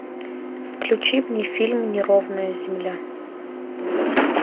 включи мне фильм неровная земля